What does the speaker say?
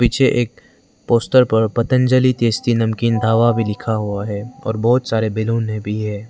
पीछे एक poster Patanjali tasty नमकीन ढाबा भी लिखा हुआ है और बहोत सारे बैलूने भी है।